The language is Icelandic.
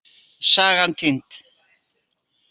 Sagan týnd.